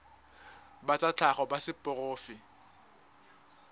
ba tsa tlhago ba seporofe